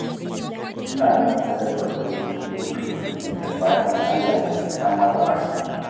Suna yin sadakar ƙuli-ƙuli duk Litinin da fatan Allah ya ji ƙan magabatansu